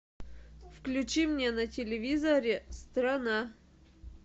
включи мне на телевизоре страна